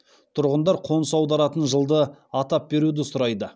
тұрғындар қоныс аударатын жылды атап беруді сұрайды